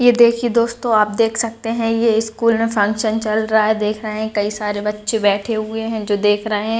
ये देखिए दोस्तों आप देख सकते है ये स्कूल में फंक्शन चल रहा है देख रहे है कई सारे बच्चे बैठे हुए हैं जो देख रहे है।